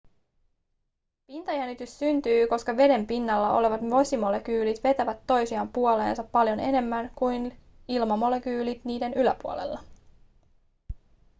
pintajännitys syntyy koska veden pinnalla olevat vesimolekyylit vetävät toisiaan puoleensa paljon enemmän kuin ilmamolekyylit niiden yläpuolella